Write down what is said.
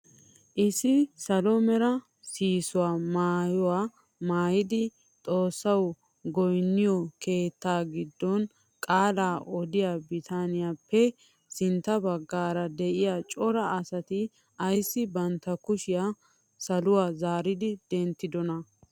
Issi salo mera sihisso maayuwaa maayida xoossawu goynniyoo keettaa giddon qaalaa odiyaa bitaniyaappe sintta baggaara de'iyaa cora asati ayssi bantta kushiyaa saluwaa zaari denttidonaa?